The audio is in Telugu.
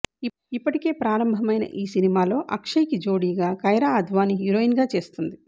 ఇప్పటికే ప్రారంభమైన ఈ సినిమా లో అక్షయ్ కి జోడీగా కైరా అద్వానీ హీరోయిన్ గా చేస్తుంది